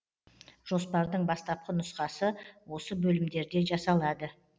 жоспардың бастапқы нұсқасы осы бөлімдерде жасалады